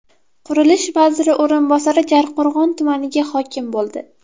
Qurilish vaziri o‘rinbosari Jarqo‘rg‘on tumaniga hokim bo‘ldi.